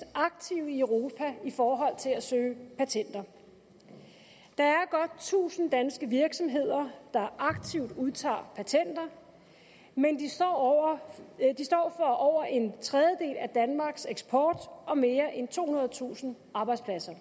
aktive i europa i forhold til at søge patenter der er godt tusind danske virksomheder der aktivt udtager patenter de står for over en tredjedel af danmarks eksport og mere end tohundredetusind arbejdspladser